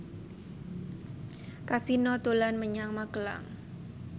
Kasino dolan menyang Magelang